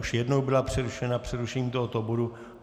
Už jednou byla přerušena přerušením tohoto bodu.